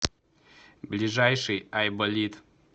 ближайший айболит